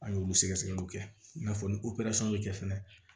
An y'olu sɛgɛ sɛgɛliw kɛ i n'a fɔ ni bɛ kɛ fɛnɛ